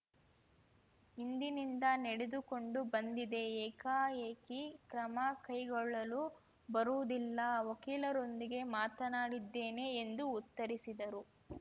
ಹಿಂದಿನಿಂದ ನಡೆದುಕೊಂಡು ಬಂದಿದೆ ಏಕಾಏಕಿ ಕ್ರಮ ಕೈಗೊಳ್ಳಲು ಬರುವುದಿಲ್ಲ ವಕೀಲರೊಂದಿಗೆ ಮಾತನಾಡಿದ್ದೇನೆ ಎಂದು ಉತ್ತರಿಸಿದರು